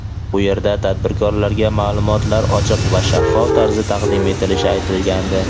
bu yerda tadbirkorlarga ma’lumotlar ochiq va shaffof tarzda taqdim etilishi aytilgandi.